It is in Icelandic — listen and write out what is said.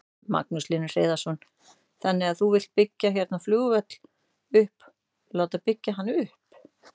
Magnús Hlynur Hreiðarsson: Þannig að þú vilt byggja hérna flugvöll upp, láta byggja hann upp?